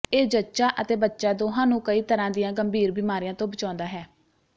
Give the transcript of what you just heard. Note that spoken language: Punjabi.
ਇਹ ਜੱਚਾ ਅਤੇ ਬੱਚਾ ਦੋਹਾਂ ਨੂੰ ਕਈ ਤਰ੍ਹਾਂ ਦੀਆਂ ਗੰਭੀਰ ਬਿਮਾਰੀਆਂ ਤੋਂ ਬਚਾਉਂਦਾ ਹੈ